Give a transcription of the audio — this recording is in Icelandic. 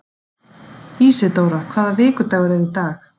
Ísidóra, hvaða vikudagur er í dag?